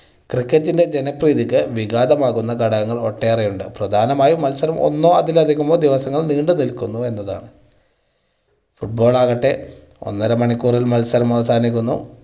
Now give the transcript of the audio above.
cricket ൻ്റെ ജനപ്രീതിക്ക് വിഘാതം ആകുന്ന ഘടകങ്ങൾ ഒട്ടേറെ ഉണ്ട്. പ്രധാനമായും മത്സരം ഒന്നോ അതിൽ അധികമോ ദിവസങ്ങൾ നീണ്ട് നിൽക്കുന്നു എന്നുള്ളതാണ്. football ആകട്ടെ ഒന്നര മണിക്കൂറിൽ മത്സരം അവസാനിക്കുന്നു.